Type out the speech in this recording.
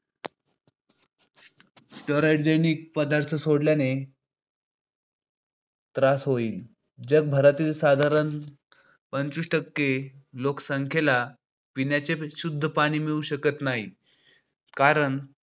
रासायनिक पदार्थ सोडल्याने त्रास होईल. जगभरातील साधारण साधारण पंचवीस टक्के लोकसंख्येला पिण्याचे विशुद्ध पाणी मिळू शकत नाही, कारण